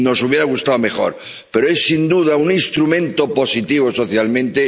Nos hubiera gustado algo mejor, pero es, sin duda, un instrumento positivo socialmente.